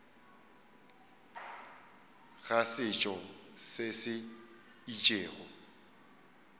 ga setšo se se itšego